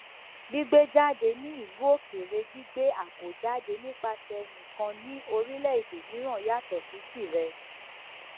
gbígbé jáde ní ìlú òkèèrè gbígbé àábò jáde nipasẹ ẹni kan ní orílẹèdè mìíràn yàtọ sí tirẹ